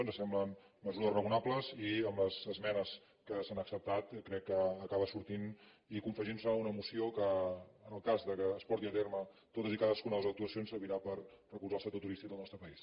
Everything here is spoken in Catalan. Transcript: ens semblen mesures raonables i amb les esmenes que s’han acceptat crec que acaba sortint i confegint se una moció que en el cas que es portin a terme totes i cadas cuna de les actuacions servirà per recolzar el sector turístic del nostre país